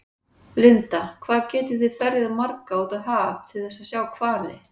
Linda: Hvað geti þið þá ferjað marga út á haf til þess að sjá hvali?